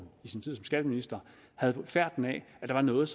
i sin tid som skatteminister havde fået færten af at der var noget